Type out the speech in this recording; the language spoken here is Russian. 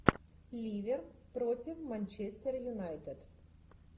ливер против манчестера юнайтед